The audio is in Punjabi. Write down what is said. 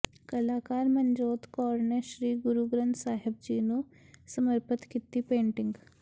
ਕਲਾਕਾਰ ਮਨਜੋਤ ਕੋਰ ਨੇ ਸ਼੍ਰੀ ਗੁਰੂ ਗ੍ਰੰਥ ਸਾਹਿਬ ਜੀ ਨੂੰ ਸਮਰਪਿਤ ਕੀਤੀ ਪੇਂਟਿਂਗ